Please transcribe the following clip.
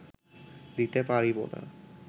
দিতে পারিব না